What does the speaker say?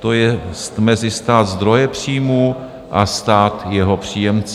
to jest mezi stát zdroje příjmu a stát jeho příjemce.